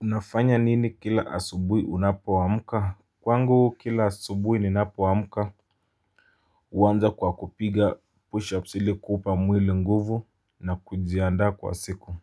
Unafanya nini kila asubuhi unapoamka? Kwangu kila asubuhi ninapoamka huanza kwa kupiga pushups ili kuupa mwili nguvu na kujiandaa kwa siku.